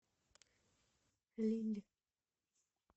лилль